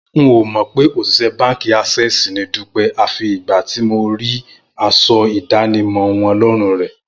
N ò mọ̀ pé òṣìṣẹ́ báǹkì Access ni Dúpẹ́ àfi ìgbà tí mo rí aṣọ ìdánimọ̀ wọn lọ́rùn rẹ̀